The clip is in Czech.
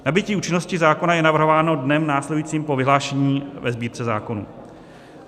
Nabytí účinnosti zákona je navrhováno dnem následujícím po vyhlášení ve Sbírce zákonů.